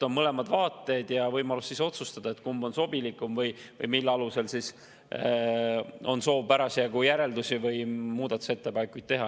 On mõlemad vaated ja võimalus otsustada, kumb on sobilikum või mille alusel on soov parasjagu järeldusi või muudatusettepanekuid teha.